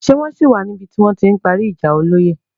Ṣé wọ́n ṣì wà níbi ti wọ́n ti ń parí ìjà olóyè.